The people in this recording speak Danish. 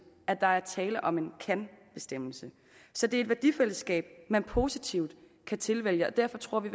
at der er tale om en kan bestemmelse så det er et værdifællesskab man positivt kan tilvælge derfor tror vi